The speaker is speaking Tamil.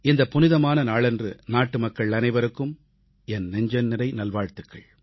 இந்த புனிதமான நாளன்று நாட்டுமக்கள் அனைவருக்கும் என் நெஞ்சம்நிறைந்த நல்வாழ்த்துகள்